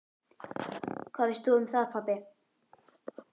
Hvað veist þú um það, pabbi?